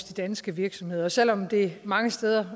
de danske virksomheder selv om det mange steder